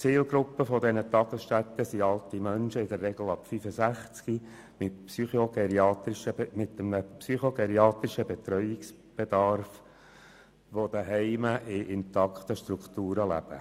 Die Zielgruppe dieser Tagesstätten sind alte Menschen, in der Regel ab 65 Jahren, mit einem psychogeriatrischen Betreuungsbedarf, die zu Hause in intakten Strukturen leben.